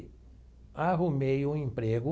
Arrumei um emprego